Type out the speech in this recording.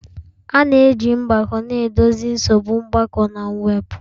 A na-eji mgbako na-edozi nsogbu mgbakọ na mwepụ.